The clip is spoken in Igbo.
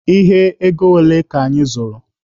Ihe ego ole ka anyị zụrụ?